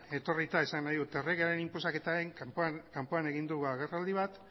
etorrita esan nahi dut erregearen inposaketaren kanpoan egin du agerraldi bat